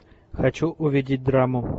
хочу увидеть драму